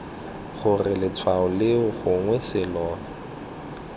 gore letshwao leo gongwe selo